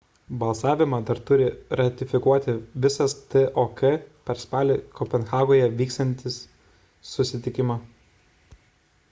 balsavimą dar turi ratifikuoti visas tok per spalį kopenhagoje įvyksiantį susitikimą